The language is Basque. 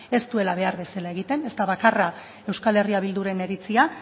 ez duela behar bezala egiten ez da bakarra euskal herria bilduren iritzia